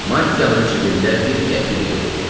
Mattiyanın cibində bir qəpik də yox idi.